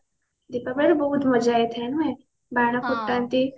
ଦୀପାବଳିରେ ବହୁତ ମଜା ହେଇଥାଏ ନୁହେଁ ବାଣ ଫୁଟାନ୍ତି